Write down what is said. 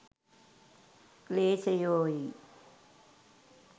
ක්ලේශයෝයි.